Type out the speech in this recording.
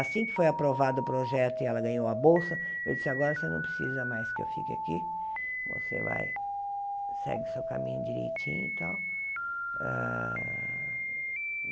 Assim que foi aprovado o projeto e ela ganhou a bolsa, eu disse, agora você não precisa mais que eu fique aqui, você vai, segue seu caminho direitinho e tal. Hã